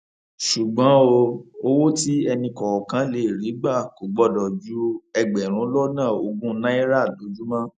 ṣùgbọn o owó tí ẹnìkọọkan lè rí gbà kò gbọdọ ju ẹgbẹrún lọnà ogún náírà lójúmọ